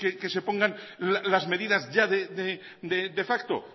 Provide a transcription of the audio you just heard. que se pongan las medidas ya de facto